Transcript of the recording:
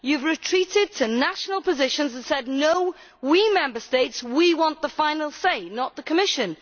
You have retreated to national positions and said, no we Member States we want the final say, not the Commission.